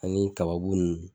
Ani tababu nunnu.